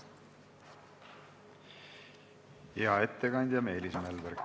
Hea ettekandja Meelis Mälberg!